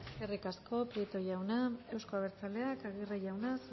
eskerrik asko prieto jauna euzko abertzaleak aguirre jauna